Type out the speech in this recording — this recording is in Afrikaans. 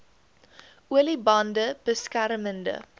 olie bande beskermende